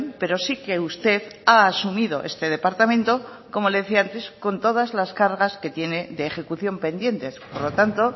pero sí que usted ha asumido este departamento como le decía antes con todas las cargas que tiene de ejecución pendientes por lo tanto